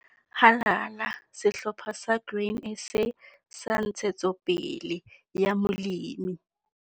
Halala, Sehlopha sa Grain SA sa Ntshetsopele ya Molemi!